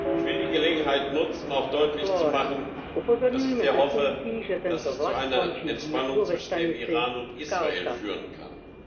Ich will die Gelegenheit nutzen, auch deutlich zu machen, dass ich sehr hoffe, dass es zu einer Entspannung zwischen dem Iran und Israel führen kann.